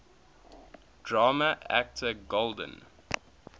drama actor golden